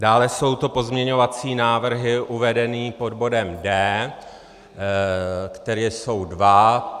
Dále jsou to pozměňovací návrhy uvedené pod bodem D, které jsou dva.